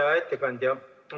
Hea ettekandja!